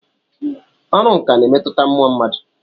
Ọrụ nkà na-emetụta mmụọ mmadụ.